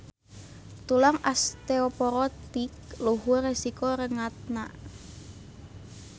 Tulang osteoporotik luhur resiko rengatna.